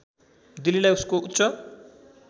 दिल्लीलाई उसको उच्च